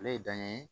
Ale ye dan ye